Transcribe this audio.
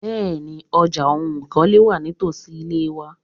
Bẹ́ẹ̀ni, ọjà oun ìkọ́lé wà nítosi ile mi.